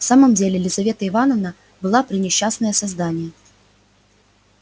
в самом деле лизавета ивановна была пренесчастное создание